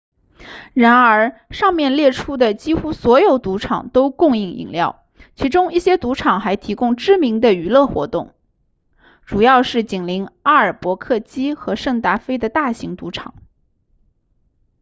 然而上面列出的几乎所有赌场都供应饮料其中一些赌场还提供知名的娱乐活动主要是紧邻阿尔伯克基和圣达菲的大型赌场